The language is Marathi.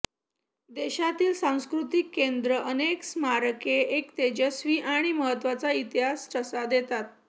देशातील सांस्कृतिक केंद्र अनेक स्मारके एक तेजस्वी आणि महत्त्वाचा इतिहास ठसा देतात